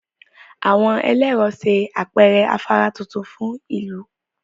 Àwọn ẹlẹ́rọ ṣe àpẹẹrẹ afárá tuntun fún ìlú